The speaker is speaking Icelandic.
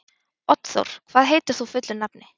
Oddþór, hvað heitir þú fullu nafni?